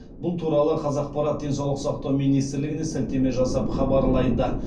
бұл туралы қазақпарат денсаулық сақтау министрлігіне сілтеме жасап хабарлайды